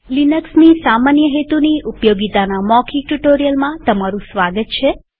લિનક્સની સામાન્ય હેતુની ઉપયોગીતાના મૌખિક ટ્યુ્ટોરીઅલમાં તમારું સ્વાગત છે